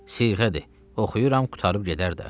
siğədir, oxuyuram, qurtarıb gedər də.